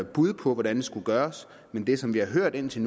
bud på hvordan det skulle gøres men det som vi har hørt indtil